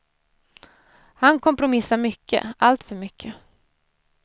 Han kompromissar mycket, alltför mycket.